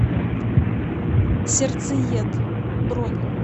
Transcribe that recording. сердцеед бронь